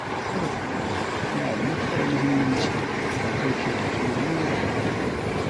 Sarrafa kuɗi yana da matukar mahimmanci don kauce wa matsalolin rayuwa.